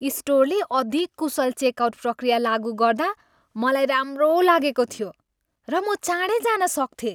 स्टोरले अधिक कुशल चेकआउट प्रक्रिया लागु गर्दा म राम्रो लागेको थियो, र म चाँडै जान सक्थेँ।